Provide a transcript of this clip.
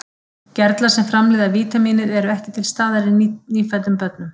Gerlar sem framleiða vítamínið eru ekki til staðar í nýfæddum börnum.